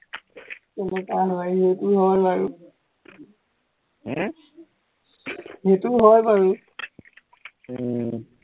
তেনেকুৱাই হয়, সেইটো হয় বাৰু হম সেইটো হয় বাৰু উম